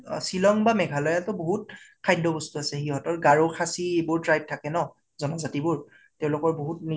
অ শ্বিলং বা মেঘালায়্তো বহুত খাদ্য় বস্তু আছে । সিহঁতৰ গাৰো খাছী এইবিলাক tribe থাকে ন, জানাজাতি বোৰ, তেওলোকাৰ নিজা